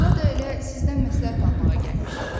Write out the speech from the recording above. Buraya da elə sizdən məsləhət almağa gəlmişik.